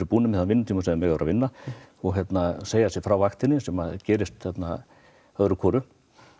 búnir með þann vinnutíma sem þeir mega vera að vinna þeir segja sig frá vaktinni sem gerist þarna öðru hvoru